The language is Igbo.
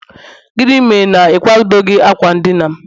gịnị mere na ị kwadoghị akwa ndina'm?